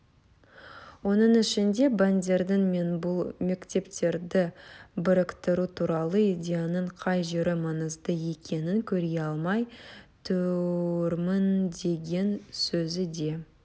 оның ішінде бандердің мен бұл мектептерді біріктіру туралы идеяның қай жері маңызды екенін көре алмай тұрмындеген сөзі де